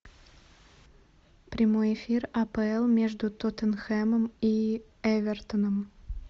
прямой эфир апл между тоттенхэмом и эвертоном